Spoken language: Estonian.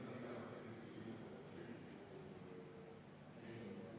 Panen hääletusele muudatusettepaneku nr 10.